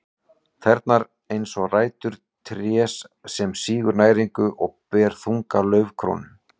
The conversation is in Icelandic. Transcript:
Tærnar eins og rætur trés sem sýgur næringu og ber þunga laufkrónu.